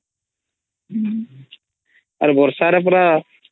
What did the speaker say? ଆ ରେ ବର୍ଷା ରେ ପରା